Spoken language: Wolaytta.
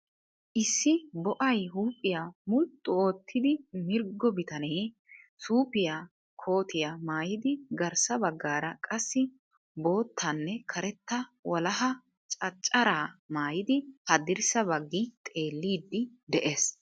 Issi bo"ay huuphiya mulxu oottidi mirggo bitanee suufiyaa kootiya maayidi garssa baggaara qassi boottanne karetta walaha cacaraa maayidi haddirssa baggi xeelliiddi de'ees.